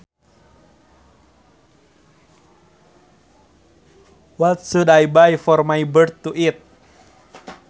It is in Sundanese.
What should I buy for my bird to eat